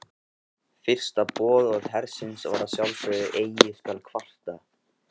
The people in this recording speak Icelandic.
Fyrsta boðorð hersins var að sjálfsögðu Eigi skal kvarta.